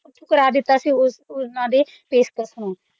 ਠੁਕਰਾ ਦਿੱਤਾ ਸੀ ਉਹਨਾਂ ਦੀ ਪੇਸ਼ਕਸ਼ ਨੂੰ ਅਹ ਪਰ